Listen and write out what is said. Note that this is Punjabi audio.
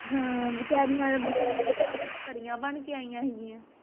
ਹਾਂ ਵਿਚਾਰਿਆ ਪਰਿਆਂ ਬਣਕੇ ਆਇਆ ਸੀਗਿਆ